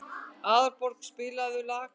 Aðalborg, spilaðu lag.